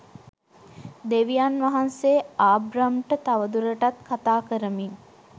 දෙවියන් වහන්සේ ආබ්‍රම්ට තවදුරටත් කථා කරමින්